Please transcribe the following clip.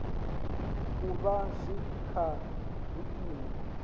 u vha zwi kha vhuimo